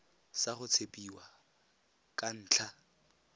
sa go tshepiwa ka ntlha